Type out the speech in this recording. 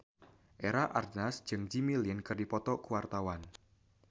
Eva Arnaz jeung Jimmy Lin keur dipoto ku wartawan